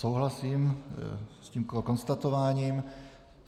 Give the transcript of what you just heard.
Souhlasím s tímto konstatováním.